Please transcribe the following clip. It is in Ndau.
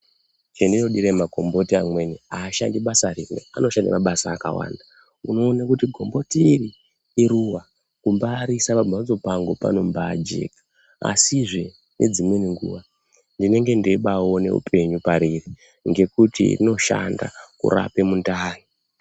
Chandino dira makomboti mamweni ashandi basa rimwe anoshanda mabasa akawanda unoona kuti komboti iri iruva kumbaiirisa pa mbatso pangu panombai jeka asizve nedzimweni nguva ndinenge ndebai ona upenyu pariri ngekuti rinoshanda kurapa mundani.